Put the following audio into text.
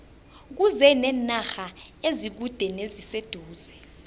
kuze nenarha ezikude neziseduze